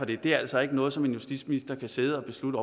det er altså ikke noget som en justitsminister kan sidde og beslutte